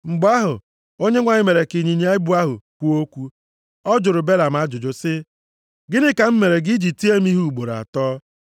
Mgbe ahụ, Onyenwe anyị mere ka ịnyịnya ibu ahụ kwuo okwu. Ọ jụrụ Belam ajụjụ sị, “Gịnị ka m mere gị i ji tie m ihe ugboro atọ?”